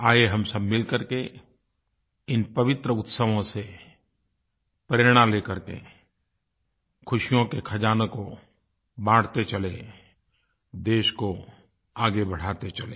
आइए हम सब मिलकर के इन पवित्र उत्सवों से प्रेरणा लेकर के ख़ुशियों के ख़ज़ानों को बाँटते चलें देश को आगे बढ़ाते चलें